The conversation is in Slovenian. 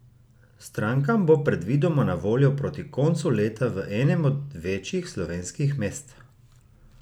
Strankam bo predvidoma na voljo proti koncu leta v enem od večjih slovenskih mest.